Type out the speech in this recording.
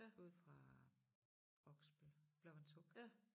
Ude fra Oksbøl Blåvandshuk